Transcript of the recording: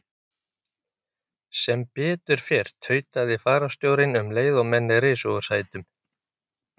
Sem betur fer, tautaði fararstjórinn um leið og menn risu úr sætum.